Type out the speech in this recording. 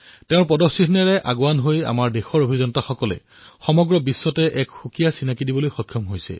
তেওঁৰ পদচিহ্নত খোজ দিয়েই আমাৰ দেশৰ ইঞ্জিনীয়াৰে সমগ্ৰ বিশ্বতে নিজৰ পৰিচয় দাঙি ধৰিবলৈ সক্ষম হৈছে